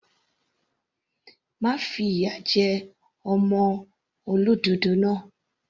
Má fi ìyà jẹ ọmọ olódòdó náà.